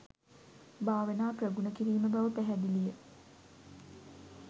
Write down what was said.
භාවනා ප්‍රගුණ කිරීම බව පැහැදිලි ය